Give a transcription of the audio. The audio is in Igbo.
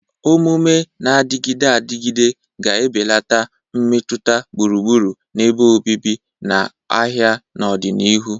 Omume na-adịgide adịgide ga-ebelata mmetụta gburugburu ebe obibi na ahịa n'ọdịnihu.